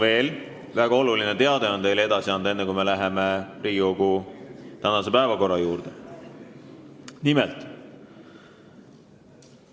Enne kui me läheme Riigikogu tänase päevakorra punktide menetlemise juurde, on teile edasi anda väga oluline teade.